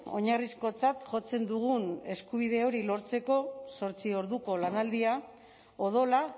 oinarrizkotzat jotzen dugun eskubide hori lortzeko zortzi orduko lanaldia odola